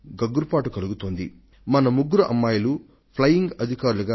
ఈ మాటలు వినగానే మీకు ఒళ్లు గగుర్పొడుస్తుంది మన దేశంలోని అమ్మాయిలలో ముగ్గురు